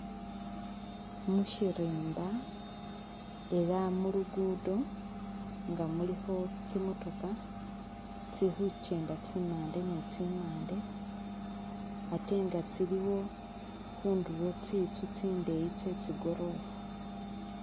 Mushirimba elah mulu'luguddo nga khulikho tsi'motoka tsili khuchenda tsimande ni tsimande ate nga tsiliwo khundulo tsintsu tsindeyi chetsi goorofa